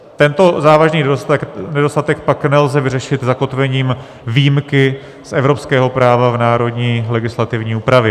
Tento závažný nedostatek pak nelze vyřešit zakotvením výjimky z evropského práva v národní legislativní úpravě.